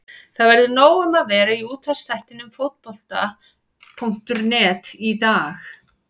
Það verður nóg um að vera í útvarpsþættinum Fótbolta.net í dag.